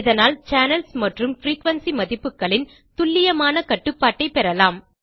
இதனால் சேனல்ஸ் மற்றும் பிரீகுயன்சி மதிப்புகளின் துல்லியமான கட்டுப்பாட்டை பெறலாம்